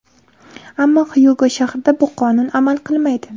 Ammo Xyugo shahrida bu qonun amal qilmaydi.